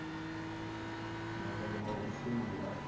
mulayo wa u shuma nga